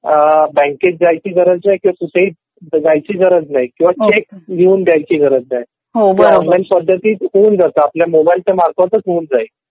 बँकेत जायची गरज नाही किंवा कुठेही लिहून द्यायची गरज नाही. ते ऑनलाईन चा मार्फत होऊन जातं मोबाईलच्या मार्फतच होऊन जाईल.